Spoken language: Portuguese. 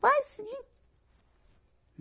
Vai seguir.